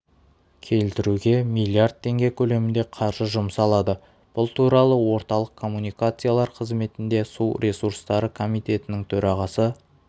келтіруге млрд теңге көлемінде қаржы жұмсалады бұл туралы орталық коммуникациялар қызметінде су ресурстары комитетінің төрағасы